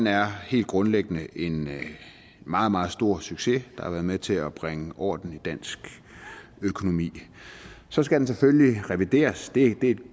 er helt grundlæggende en meget meget stor succes der har været med til at bringe orden i dansk økonomi så skal den selvfølgelig revideres og det er et